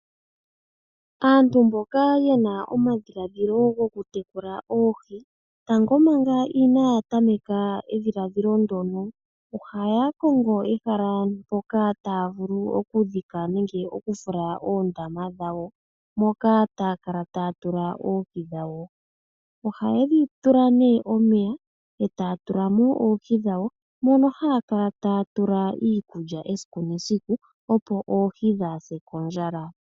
Aantu mboka ye na omadhiladhilo goku tekula oohi, tango manga inaaya tameka edhiladhilo ndono ohaya kongo ehala mpono taya vulu okudhika nenge oku fula oondama dhawo moka taya kala taya tula oohi dhawo. Ohaye dhi tula nee omeya, etaya tula mo oohi dhawo, mono haya kala taya tula iikulya esiku nesiku opo oohi dhaase kondjala.